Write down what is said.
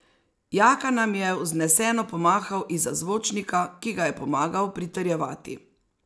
Jaka nam je vzneseno pomahal izza zvočnika, ki ga je pomagal pritrjevati.